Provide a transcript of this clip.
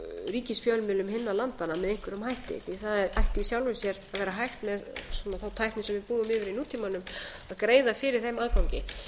ríkisfjölmiðlum hinna landanna með einhverjum hætti því það ætti í sjálfu sér að vera hægt með þá tækni sem við búum yfir í nútímanum að greiða fyrir þeim aðgangi